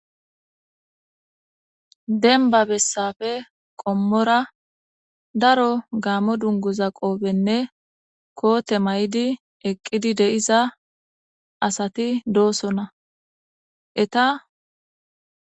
Dembba bessape qommora gaammo dunguza qopenne koote mayidi eqqidi de7iza asati doosona